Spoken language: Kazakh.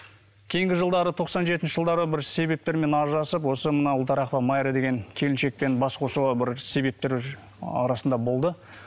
кейінгі жылдары тоқсан жетінші жылдары бір себептермен ажырасып осы мынау ұлтарақова майра деген келіншекпен бас қосуға бір себептер арасында болды